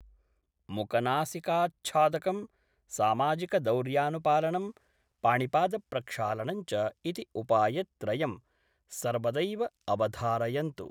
मुखनासिकाच्छादकं, सामाजिकदौर्यानुपालनं, पाणिपादप्रक्षालनञ्च इति उपायत्रयं सर्वदैव अवधारयन्तु।